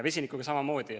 Vesinikuga on samamoodi.